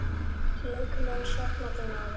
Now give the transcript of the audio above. Ég mun sakna þín, afi.